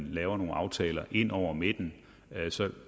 laver nogle aftaler hen over midten så